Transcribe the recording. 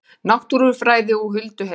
Náttúrufræði og hulduheimar